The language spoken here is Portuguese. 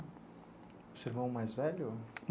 Seu irmão mais velho?